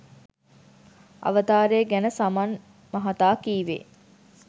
අවතාරය ගැන සමන් මහතා කීවේ